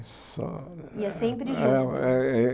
Só Ia sempre junto? Aê